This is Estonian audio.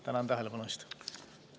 Tänan tähelepanu eest!